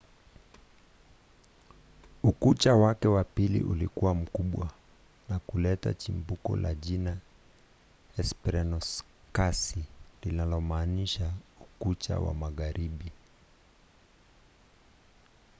ukucha wake wa pili ulikuwa mkubwa na kuleta chimbuko la jina hesperonikasi linalomaanisha ukucha wa magharibi.